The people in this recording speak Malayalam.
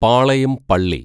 പാളയം പള്ളി